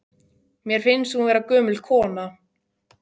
Mér finnst hún vera gömul kona.